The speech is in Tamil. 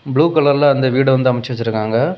புளு கலர்ல அந்த வீடு வந்து அமைச்சு வச்சிருக்காங்க.